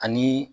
Ani